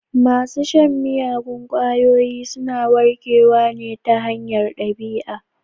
Masu shan miyagun ƙwayoyi suna warkewa ta hanyar ɗabi'a.